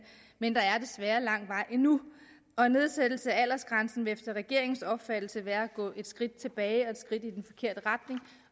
men der er desværre lang vej endnu og nedsættelse af aldersgrænsen vil efter regeringens opfattelse være at gå et skridt tilbage